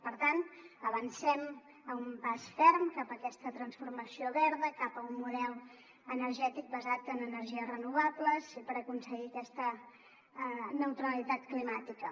per tant avancem a un pas ferm cap a aquesta transformació verda cap a un model energètic basat en energies renovables i per aconseguir aquesta neutralitat climàtica